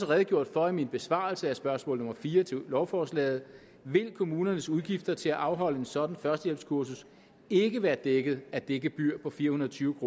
redegjort for i min besvarelse af spørgsmål nummer fire til lovforslaget vil kommunernes udgifter til at afholde et sådant førstehjælpskursus ikke være dækket af det gebyr på fire hundrede og tyve